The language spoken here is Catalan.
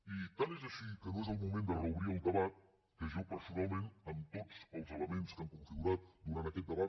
i tant és així que no és el moment de reobrir el debat que jo personalment amb tots els elements que han configurat durant aquest debat